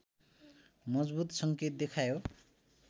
मजबुत सङ्केत देखायो